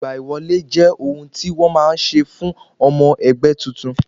Ìgbà wọlé jẹ́ ohun tí wọn má ń ṣe fún ọmọ ẹgbẹ́ titun